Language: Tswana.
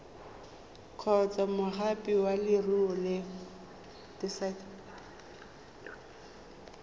kgotsa moagi wa leruri o